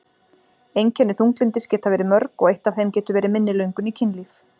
Einkenni þunglyndis geta verið mörg og eitt af þeim getur verið minni löngun í kynlíf.